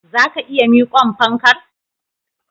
Zaka iya miqon fankar?